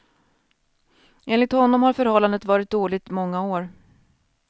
Enligt honom har förhållandet varit dåligt många år.